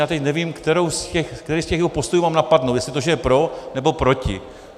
A teď nevím, který z těch jeho postojů mám napadnout, jestli to, že je pro, nebo proti.